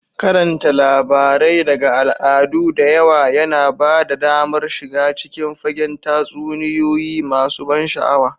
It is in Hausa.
Karanta labarai daga al'adu da yawa yana ba ka damar shiga cikin fagen tatsuniyoyi masu ban sha'awa.